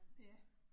Ja